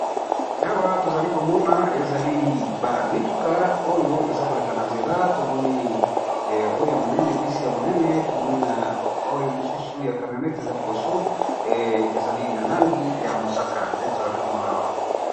Awa tozali komona ezali ba mituka ezali koleka na balabala, tomoni mutuka ya munene oyo ememaka batu